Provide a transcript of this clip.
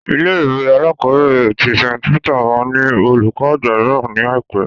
Ilé-ìwé alákọ̀ọ́bẹ̀rẹ̀ tí St Peter máa ní olùkó àgbà mìíràn ní àìpé.